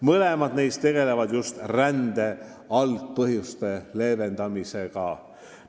Mõlemal puhul tegeldakse just rände algpõhjuste leevendamisega.